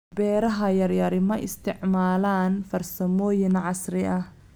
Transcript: Beeraha yaryari ma isticmaalaan farsamooyin casri ah.